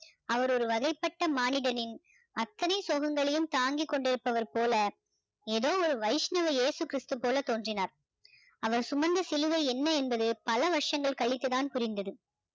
அவர் ஒரு வகைப்பட்ட மானிடனின் அத்தனை சோகங்களையும் தாங்கி கொண்டிருப்பவர் போல ஏதோ ஒரு வைஷ்ணவ இயேசு கிறிஸ்து போல தோன்றினார் அவர் சுமந்த சிலுவை என்ன என்பது பல வருஷங்கள் கழிந்து தான் புரிந்தது